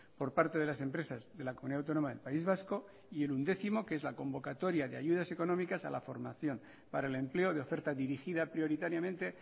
por parte de las empresas de la comunidad autónoma del país vasco y el undécimo que es la convocatoria de ayudas económicas a la formación para el empleo de oferta dirigida prioritariamente